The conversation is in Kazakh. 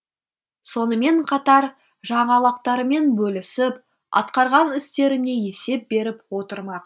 сонымен қатар жаңалықтармен бөлісіп атқарған істеріне есеп беріп отырмақ